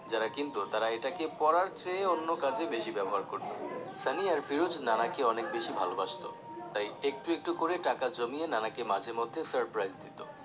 যারা কিনতো তারা এটাকে পড়ার চেয়ে অন্য কাজে বেশি ব্যবহার করতো সানি আর ফিরোজ নানাকে অনেক বেশি ভালোবাসতো তাই একটু একটু করে টাকা জমিয়ে নানাকে মাঝে মধ্যে surprise দিতো